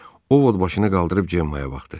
O Vot başını qaldırıb Cemmaaya baxdı.